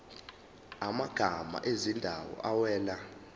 amagama ezindawo awela